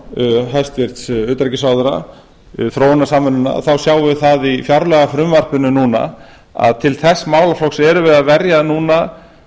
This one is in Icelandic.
um í ræðu hæstvirts utanríkisráðherra þróunarsamvinnunnar þá sjáum við í fjárlagafrumvarpinu núna að til þess málaflokks erum við að verja núna